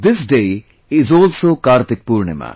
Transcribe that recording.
This day is also Kartik Purnima